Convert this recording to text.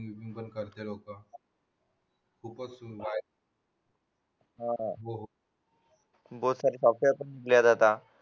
हिंदुस्तानचे लोक खूपच सुंदर आहेत बहुत सारे विकले जातात